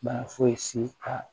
Bana fosi ka